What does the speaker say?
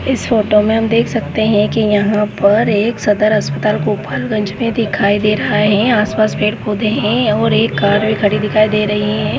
इस फोटो मे हम देखा सकते है कि यहाँ पर एक सदर हॉस्पिटल दिखाई दे रहा है आस पास पेड़ पौधे है और एक कार भी खडी दिखाई दे रही है।